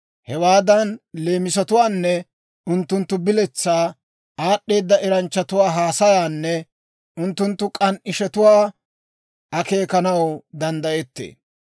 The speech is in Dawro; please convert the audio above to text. Hewaadan leemisatwaanne unttunttu biletsaa, aad'd'eeda eranchchatuwaa haasayaanne unttunttu k'an"ishetuwaa akeekanaw danddayettee.